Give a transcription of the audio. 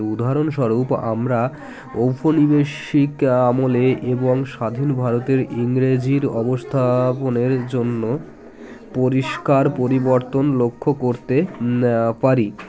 উদাহরণস্বরূপ আমরা ঔপনিবেশিক আমলে এবং স্বাধীন ভারতের ইংরেজির অবস্থাপনের জন্য পরিস্কার পরিবর্তন লক্ষ্য করতে আআ পারি